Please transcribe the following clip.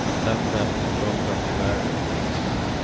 en sämre efterfrågan i världen i stort.